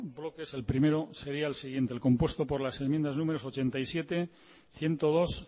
bloques el primero sería el siguiente el compuesto por las enmiendas números ochenta y siete ciento dos